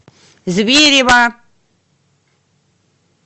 зверево